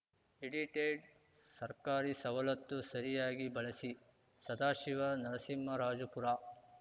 edited ಸರ್ಕಾರಿ ಸವಲತ್ತು ಸರಿಯಾಗಿ ಬಳಸಿ ಸದಾಶಿವ ನರಸಿಂಹರಾಜಪುರ